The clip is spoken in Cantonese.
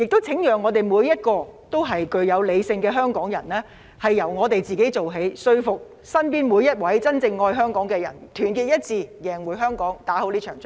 請每一位理性的香港人由自己做起，說服身邊每一位真正愛香港的人，團結一致贏回香港，打勝這場仗。